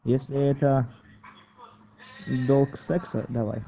если это долг секса давай